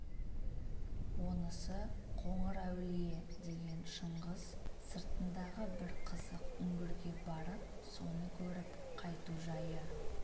онысы қоңырәулие деген шыңғыс сыртындағы бір қызық үңгірге барып соны көріп қайту жайы